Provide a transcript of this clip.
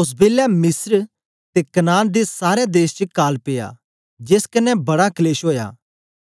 ओस बेलै मिस्र ते कनान दे सारै देश च काल पिया जेस कन्ने बड़ा कलेश ओया